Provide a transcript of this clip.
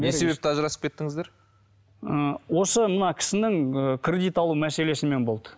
не себепті ажырасып кеттіңіздер ы осы мына кісінің ы кредит алу мәселесімен болды